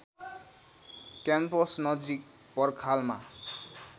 campus नजिक पर्खालमा